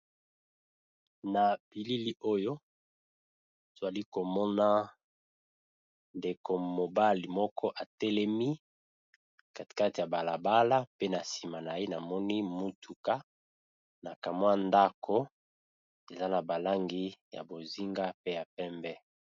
Na bilili oyo tozali komona ndeko mobali moko atelemi na balabala